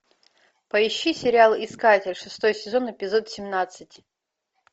поищи сериал искатель шестой сезон эпизод семнадцать